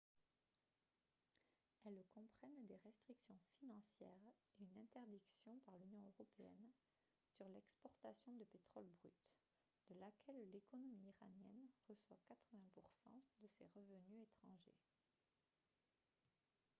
elles comprennent des restrictions financières et une interdiction par l'union européenne sur l'exportation de pétrole brut de laquelle l'économie iranienne reçoit 80 % de ses revenus étrangers